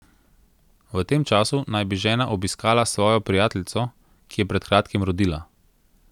V tem času naj bi žena obiskala svojo prijateljico, ki je pred kratkim rodila.